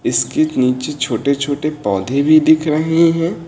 इसके नीचे छोटे छोटे पौधे भी दिख रहे हैं।